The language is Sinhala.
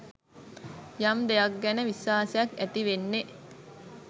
යම් දෙයක් ගැන විශ්වාසයක් ඇති වෙන්නේ